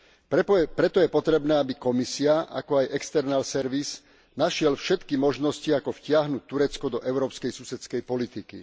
Preto je potrebné, aby Komisia, ako aj External Service našiel všetky možnosti, ako vtiahnuť Turecko do Európskej susedskej politiky.